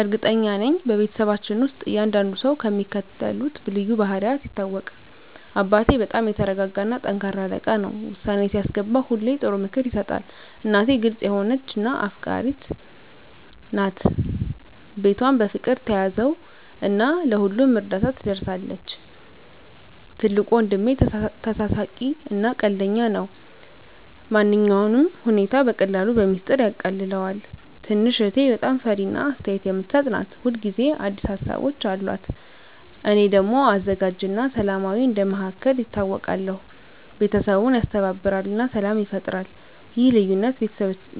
እርግጠኛ ነኝ፤ በቤተሰባችን ውስጥ እያንዳንዱ ሰው በሚከተሉት ልዩ ባህሪያት ይታወቃል - አባቴ በጣም የተረጋጋ እና ጠንካራ አለቃ ነው። ውሳኔ ሲያስገባ ሁሌ ጥሩ ምክር ይሰጣል። እናቴ ግልጽ የሆነች እና አፍቃሪች ናት። ቤቷን በፍቅር ትያዘው እና ለሁሉም እርዳታ ትደርሳለች። ትልቁ ወንድሜ ተሳሳቂ እና ቀልደኛ ነው። ማንኛውንም ሁኔታ በቀላሉ በሚስጥር ያቃልለዋል። ትንሽ እህቴ በጣም ፈጣሪ እና አስተያየት የምትሰጥ ናት። ሁል ጊዜ አዲስ ሀሳቦች አሉት። እኔ ደግሞ አዘጋጅ እና ሰላማዊ እንደ መሃከል ይታወቃለሁ። ቤተሰቡን ያስተባብራል እና ሰላም ይፈጥራል። ይህ ልዩነት